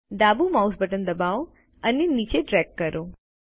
ડાબુ mouse button દબાવો અને નીચે ડ્રેગ કરો